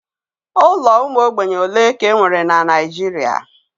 Ụlọ ụmụ ogbenye ole ka e nwere na Naijiria?